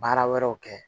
Baara wɛrɛw kɛ